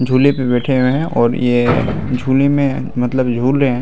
झूले पे बैठे हुए है और ये झूले में मतलब झूल रहे है।